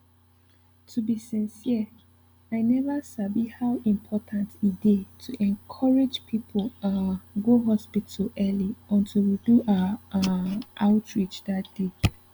to be sincere i never sabi how important e dey to encourage people um go hospital early until we do our um outreach that day